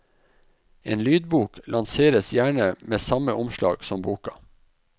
En lydbok lanseres gjerne med samme omslag som boka.